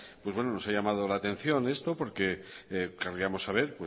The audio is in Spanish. nos ha llamado la atención esto porque querríamos saber